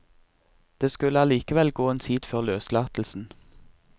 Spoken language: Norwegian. Det skulle allikevel gå en tid før løslatelsen.